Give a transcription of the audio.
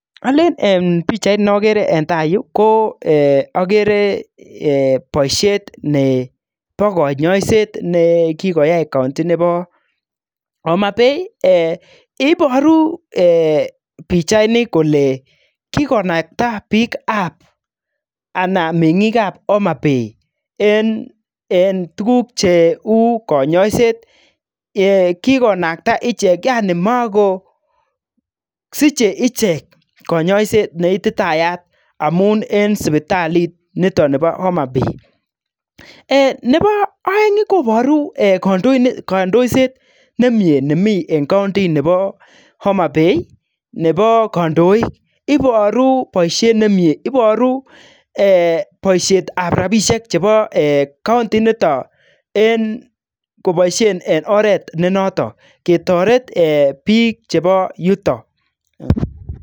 Olen eeh pichait ne ogere eng taa yuu ko eeh ogere eeh boisiet nebo konyoiset ne kikoyai [county] nebo Homabay eeh iboru eeh pichaini kole kikonakta bikab anan mengikab Homabay eng tuguk cheu konyoiset eeh kikonakta ichek yani mako siche ichek konyoiset ne ititayat amun eng sipitalit niton nebo Homabay. Eeh nebo oeng iih koboru eeh kandoiset nemie nemi eng [county] nebo Homabay nebo koondoik iboru boisiet nemie iboru eeh boisietab rabisiek chebo kaundi initon eng koboisien eng oret ne noton ketoret eeh bik chebo yuton.